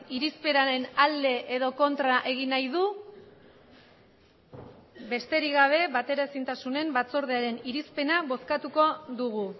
irizpenaren alde edo kontra egin nahi du besterik gabe bateraezintasunen batzordearen irizpena bozkatuko dugu